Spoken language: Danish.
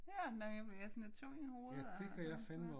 Ja. Nej jeg bliver lidt sådan tung i hovedet og sådan